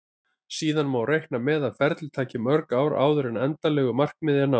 Síðan má reikna með að ferlið taki mörg ár áður en endanlegu markmiði er náð.